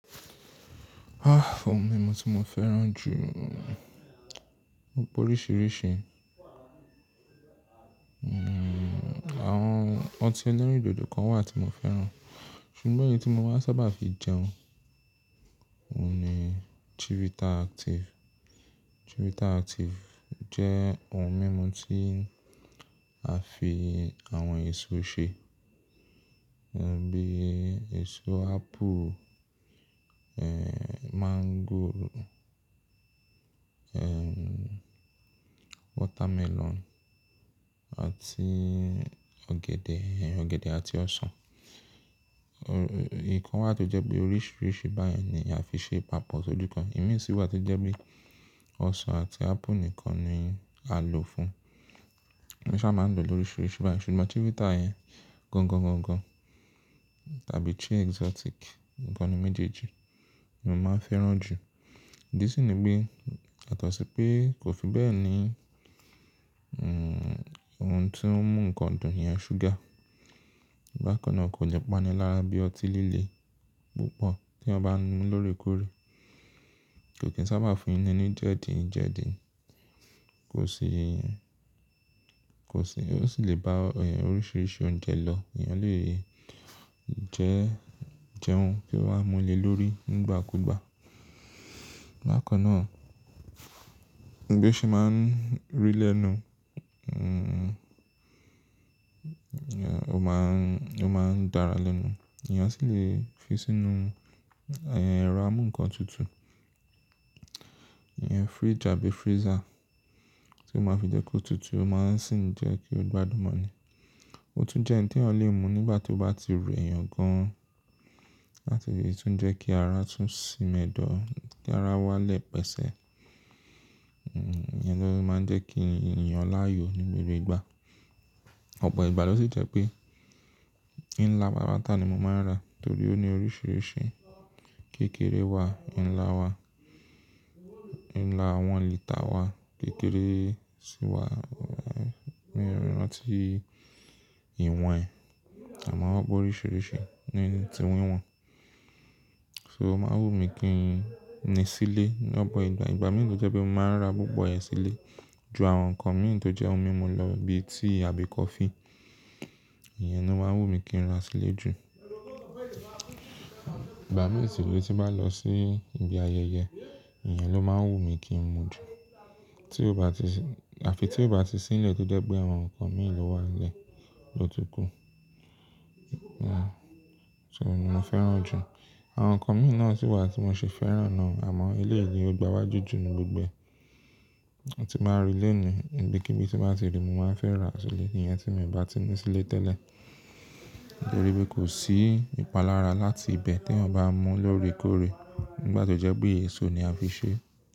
Ah ohun mímu tí mo fẹ́ràn jù, wọ́n pọ̀ oríṣiríṣi. Awọn ọtí eleríndòdó kan wà tí mo fẹ́ràn, ṣùgbọ́n èyí tí mo máa ń sábà fi jẹun òun ni Chivita Active. Chivita Active jẹ́ ohun mímu tí a fi àwọn èso ṣe, bíi èso apple, eh mango, eh watermelon àti ọ̀gẹ̀dẹ̀, ọ̀gẹ̀dẹ̀ àti ọsàn. Òò, ìkan wà tó jẹ́ pé oríṣiríṣi báyẹn ni a fi ṣe papọ̀ sóju kan, ìmí sí wà tó jẹ́ pé ọsàn àti apple nìkan ni a lò fún. Emí sà máa ń lò lóríṣiríṣi báyìí ṣùgbọ́n Chivita yẹn gangan, gangan tàbí chi exotic ikan'nu méjèèjì ni mo máa ń fẹ́ràn jù. Ìdí sì ni pé yàtosìpé kò fi bẹ́ẹ̀ ni, ohun tó ń mú nǹkan dùn yẹn, ṣúgà. Bákan náà kò lẹ́ pánilára bí ọtí líle púpọ̀ tí ẹyan bá ń mu lóòrèkóòrè. Kò kì í sábà fúnni ní jẹ̀díjedí. Kò sì, kò sì, ó sì lè bá ọ, ẹ, oríṣiríṣi oúnjẹ lọ. Èèyàn lè jẹ́, jẹun kí ó máa múle lórí nígbàkúgbà. Bákan náà, bí ó ṣe máa ń rì lẹ́nu,, ẹ, ó máa ń, ó máa ń dára lẹnu. Èèyàn sì lè fi sínú, ẹ, ẹ̀rọ amú nǹkan tutù. Ẹ, fridge àbí freezer tí ó máa fi jẹ́ kó tutù ó máa sì ń jẹ́ kí ó gbádùn mọ́ ni. Ó tún jẹ́ ǹ t'ẹyan lè mu nígbà tí ó bá ti rẹ̀ èèyàn gan-an làti le tún jẹ́ kí ara tún sínm'edọ́, kí ara wálẹ̀ pẹ̀sẹ̀. Iyẹn ló máa ń jẹ́ kí n yàn láàyò ní gbogbo ìgbà. Ọ̀pọ̀ ìgbà ló sì jẹ́ pé ìnlá patàpátá ni mo máa ń ra torí ó ní oríṣiríṣi. Kékèré wà, nlá wà, nlá one lítà wà, kékeré sì wà, mn ranti ìwọ̀n ẹ. Àmọ́ wọ́n p'oríṣiríṣi ní tí wíwọ̀n. So o máa ń wùmí kí n ní sílé. Lọ́pọ ìgbà, igba mìíràn tó jẹ́ pé mo máa ń ra púpọ̀ rẹ̀ sílé ju àwọn nǹkan mi tó jẹ́ ohun mímu lọ bíi tíì àbí coffee. Ìyẹn ló máa ń wù mí kí n ra sílé jù. Ìgbà mìíràn sì ló ti bá lọ sí ibi ayẹyẹ, Ìyẹn ló máa ń wù mí kí n mu jù. Tí ó bá ti sì, àfi tí ó bá ti sì nílẹ̀ tọ́ je pé àwọn nǹkan mi lò wá nlẹ̀ ló túkú. So mo máa ń fẹ́ràn jù. Àwọn nǹkan mi náà sì wà tí mo ṣi fẹ́ràn náà àmọ́ eléyi ni ó gbà'wájù jù nínu gbogbo e. Tí n bá rì lẹ́ni, ibikíbí tí n bàá ti rì mo máa ń fẹ́ ra sílé, iyẹn tí mio bá ti ní sílé tẹ́lẹ̀. Torí pé kò sí ìpalára láti ibẹ̀ t'ẹyan bá mu lóòrèkóòrè nígbà tó jẹ́ pé èso ni a fi ṣe.